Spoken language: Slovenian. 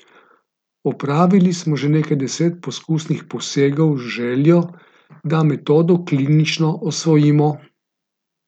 Opravili smo že nekaj deset poskusnih posegov z željo, da metodo klinično osvojimo.